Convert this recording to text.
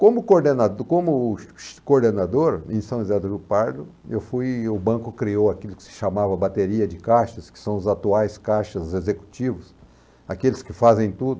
Como coordenador, em como coordenador em São José do Rio Pardo, eu fui, o banco criou aquilo que se chamava bateria de caixas, que são os atuais caixas executivos, aqueles que fazem tudo.